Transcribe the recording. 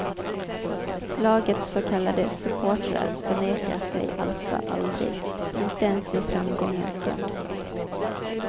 Lagets så kallade supportrar förnekar sig alltså aldrig, inte ens i framgångens stund.